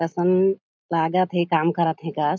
असन लागत हे काम करत हे कस।